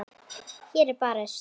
Hér er barist.